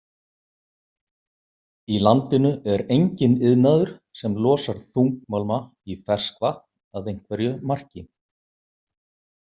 Í landinu er enginn iðnaður sem losar þungmálma í ferskvatn að einhverju marki.